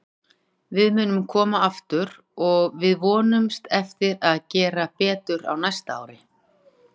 Við munum koma aftur og við vonumst eftir að gera betur á næsta ári.